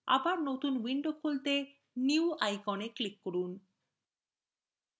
আবার নতুন window খুলতে new icon click করুন